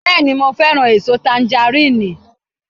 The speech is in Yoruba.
Bẹ́ẹ̀ni, mo fẹ́ràn èso tangaríìnì